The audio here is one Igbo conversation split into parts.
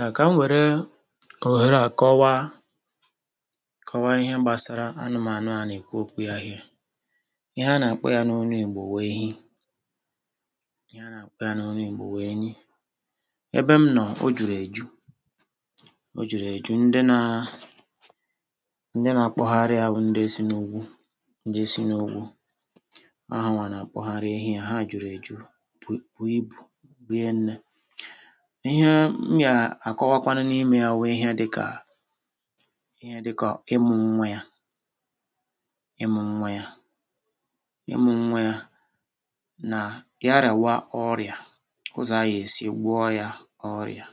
um Ka m were ohere a kọwaa, kọwaa ihe gbasara anụmanya a na-ekwu okwu ya here. Ihe a na-akpọ ya n’onu Igbo bụ Ehi; ihe a na-akpọ ya n’onu Igbo bụ Eyi. Ebe m nọ, o juru eju, o juru eju ndị na, ndị na-akpọgharị a bụ ndị si n’ugwu, ndị si n’ugwu. O ha wa na-akpọgharị ehi ya; ha juru eju, bụ ibu, rienne. Ihe m na-akọwakwanụ n’ime ya bụ ihe dịka, ihe dịka ịmụ nwa ya, ịmụ nwa ya, ịmụ nwa ya na ya rawa ọrịa, ụzọ aya esi gwo ya ọrịa,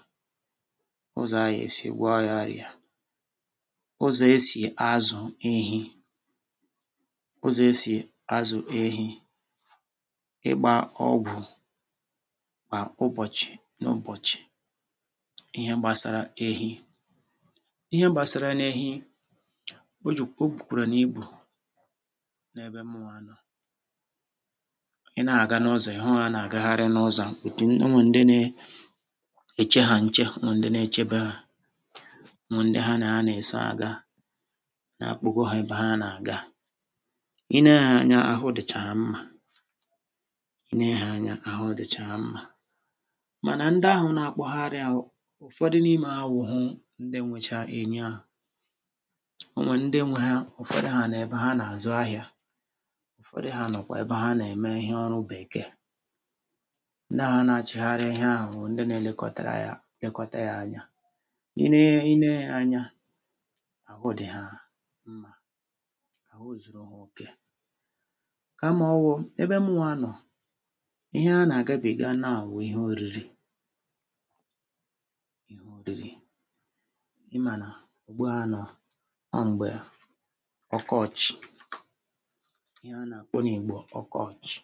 ụzọ aya esi gwo ya ọrịa, ụzọ esi azụ ehi, ụzọ esi azụ ehi, ịgba ọgwụ kwa ụbọchị n’ụbọchị, ihe gbasara ehi, ihe gbasara n’ehi, O ju o gbukwara n’ibu n’ebe mụwa nọ; i na-aga n’ụzọ, ị hụ ha na-agagharị n’ụzọ otu, onwe ndị na-eche ha nche, onwe ndị na-echebe ha, onwe ndị ha na ha na-eso aga na-akpọgo ha ebe ha n’aga. I nee ha anya, ahụ dịcha ha mma, i nee ha anya, ahụ dịcha ha mma; mana ndị ahụ n’akpọgharị ahụ, ụfọdụ n’ime awụhụ ndị nwèchà ehi ahụ, onwe ndị nwe ha, ụfọdụ ha nà ebe ha nà azụ ahịa, ụfọdụ ha nọ kwa ebe ha nà-eme ihe ọrụ bekee. Ndị a na-achịgharị ihe ahụ bụ ndị na-elekọtara ya, lekọta ya anya. I nee, i nee ha anya, ahụ dị ha mma; ahụ zụrụ ha oke ka ma ọwụ ebe mụwa nọ. Ihe ha nà agabiga now bụ ihe oriri, ihe oriri. Ị mana ugbo a nọọ. O mgbè ọkọchị, ihe a na-akpọ n’Igbo ọkọchị,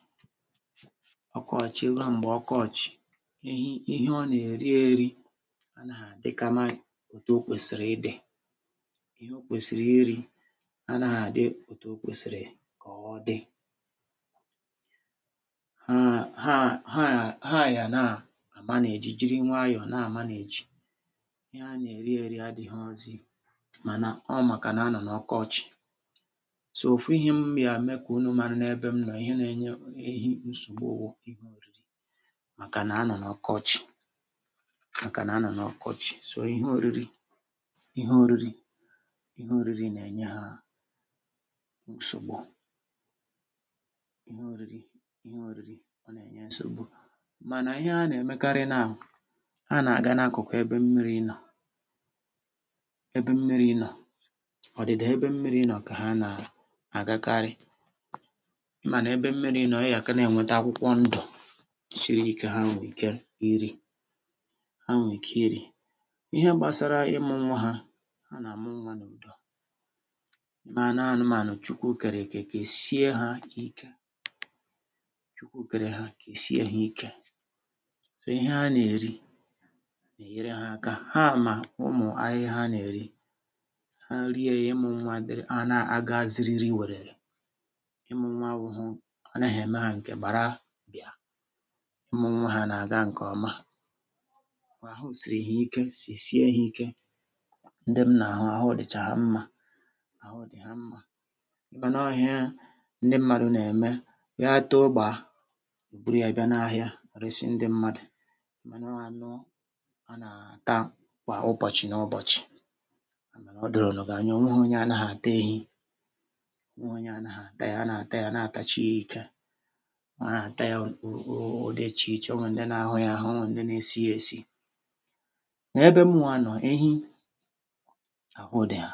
ọkọchị, mgbè ọkọchị, ehi, ihe ọ na-eri eri anaghị adịkama otu okwụsịrị ịdị. Ihe okwụsịrị iri anaghị adị otu okwụsịrị ka ọ dị. Ha, ha, ha, ha yana manage, jiri nwayọ na manage. Ihe ha na-eri eri adịrozi, mana ọ maka na anọ na ọkọchị. So, ofu ihe m ya me ka unu mara n’ebe m nọ, ihe na-enye Ehi nsogbu hụ ihe oriri, maka na anọ na ọkọchị, maka na anọ na ọkọchị. So. Ihe oriri, ihe oriri, ihe oriri na-enye ha nsogbu; ihe oriri, ihe oriri o na-enye nsogbu. Mana ihe ha n’emekari now, ha na-ga na-akuku ebe mmiri nọ, ebe mmiri nọ, ọdịda ebe mmiri nọ kà ha na-agakarị. Ị ma na-ebe mmiri nọ, ị yaka na-enweta akwụkwọ ndụ siri ike, ha nwee ike iri, ha nwee ike iri. Ihe gbasara ịmụ nwa ha, ha na-amụ nwa n’udo. Ì maa n’anụmanya Chukwu kereke, kesie ha ike; Chukwu kere ha, kesie ha ike. so Ihe ha n’eri n’eyere ha aka, ha ma ụmụ ahịhịa ha na-eri, ha rie ya, ịmụ nwa adiri, a na-aga zịrịrị wererè. Ịmụ nwa abụghị, ọ naghị eme ha nke gbara bịa; ịmụ nwa ha na-aga nke ọma. O kwa ahụ siri ya ike, sị sie ya ike. Ndị m na-ahụ, ahụ dịcha ha mma; ahụ dị ha mma. Ị ma nọ ihe ndị mmadụ na-eme, ya tọọ gbaa, eburu ya bia n’ahịa resị ndị mmadụ. Ị ma nọ anụ ana-ata kwa ụbọchị na ụbọchị, ya mere nụ o doro nụ gị anya. O nwe honu onye anaghị ata Ehi, o nwe honu onye anaghị ata ya; a na-ata ya, a na-ata ya na-atachie ike, a na-ata ya. O, o, o, ụdị iche iche, o nwe ndị n’ahụ ya ahụ, o nwe ndị na-esie esi. N’ebe mụwa nọ, ehi ahụ dị ha;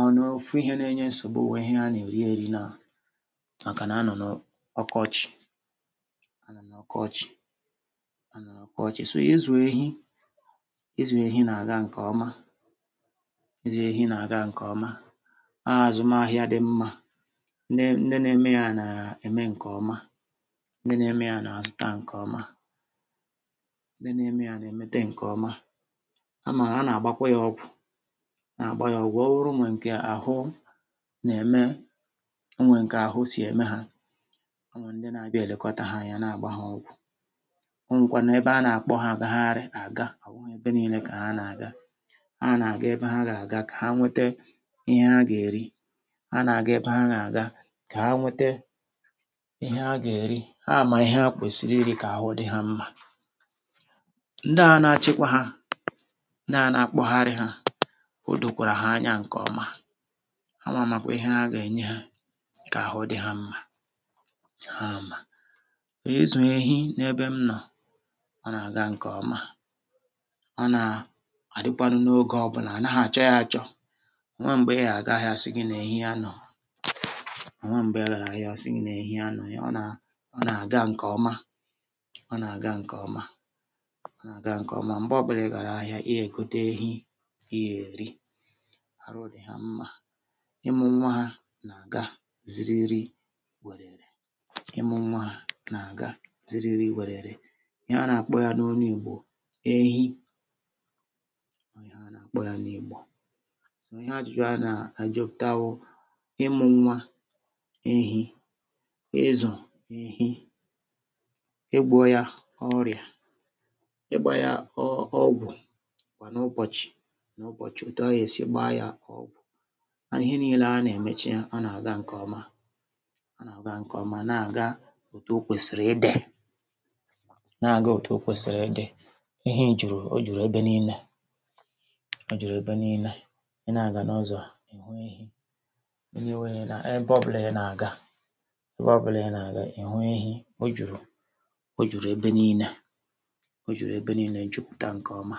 ọ n’ofu ihe na-enye nsogbu bụ ihe ha na-erieri now, maka na anọ n’ọkọchị, anọ n’ọkọchị, anọ n’ọkọchị. So izu ehi, izu ehi na-aga nke ọma; izu ehi na-aga nke ọma. Azụmahịa dị mma; ndị, ndị na-eme ya na-eme nke ọma; ndị na-eme ya na-azụta nke ọma; ndị na-eme ya na-emete nke ọma. Amà m a n’agbawa ya ọgwụ, a n’agbawa ya ọgwụ. O wuru na nke ahụ na-eme, o nwɛ nke ahụ sị eme ha; o nwɛ ndị na-abịa e lekọta ha anya, na-agba ha ọgwụ. O nwekwanu ebe a na-akpọ ha agahari aga; o buhu ebe niile ka ha na-aga. Ha na-aga ebe ha ga-aga ka ha nwete ihe ha ga-eri; ha na-aga ebe ha ga-aga ka ha nwete ihe ha ga-eri. Ha ama ihe ha kwụsịrị iri kà ahụ dị ha mma. Ndị na-achịkwa ha, ndị na-anakpọgharị ha, odokwàrà ha anya nke ọma; ha wa makwa ihe ha ga-enye ha kà ahụ dị ha mma, ha ama. Izu Ehi n’ebe m nọ, o na-aga nke ọma; o na adịkwanu n’ogè ọbụla, anaghị achọ ya achọ. Onweghi mgbè ị ga-aga ahịa asị gị na Ehi anọrọ; onweghi mgbè ị gara ahịa asị gị na Ehi anọrọ. Ihe, ọ na-aga nke ọma, ọ na-aga nke ọma, ọ na-aga nke ọma. Mgbe ọbụla ị gara ahịa, ị ga egote Ehi ị ga eri; arụ dị ha mma; ịmụ nwa ya na-aga zịrịrị wererè; ịmụ nwa ya na-aga zịrịrị wererè. Ihe a na-akpọ ya na onu Igbo bụ Ehi, o ihe anakpọ ya n’Igbo. So ihe ajụjụ a na-ajụ pụta hụ ịmụ nwa Ehi, ịzụ ehi, igwọ ya ọrịa, igba ya ọgwụ kwa n’ụbọchị n’ụbọchị, òtù a ga-esi gbaa ya ọgwụ. O kwanu ihe niile a na-emeche ya na-aga nke ọma; o na-aga nke ọma, na-aga òtù okwụsịrị ịdị, na-aga òtù okwụsịrị ịdị. Ehi juru, o juru ebe niile, o juru ebe niile; i na-aga n’ọzọ, ihu Ehi, anywhere ebe ọbụla ị na-aga, ebe ọbụla ị na-aga ihu Ehi. O juru, o juru ebe niile, o juru ebe niile, jupụta nke ọma.